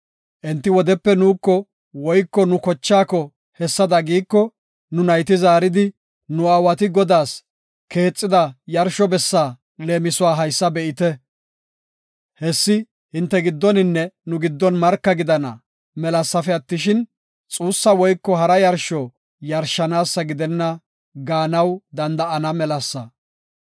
Enti wodepe nuuko woyko nu kochaako hessada giiko, nu nayti zaaridi, ‘Nu aawati Godaas keexida yarsho bessa leemisuwa haysa be7ite. Hessi hinte giddoninne nu giddon marka gidana melasafe attishin, xuussa woyko hara yarsho yarshanaasa gidenna’ gaanaw danda7ana melasa.